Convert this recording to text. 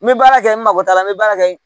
N bɛ baara kɛ n mako t'a la n bɛ baara kɛ